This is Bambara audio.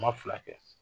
Ma fila kɛ